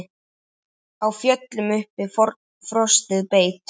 Á fjöllum uppi frostið beit.